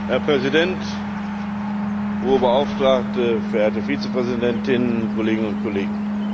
Herr Präsident, Hohe Beauftragte, verehrte Vizepräsidentin, Kolleginnen und Kollegen!